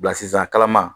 Bilasira kalama